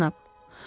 Xeyr, cənab.